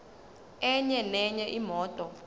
enye nenye imoto